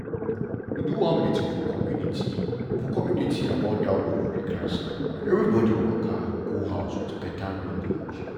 we do one meeting for community for community about that ovary cancer and everybody waka go house with better knowledge.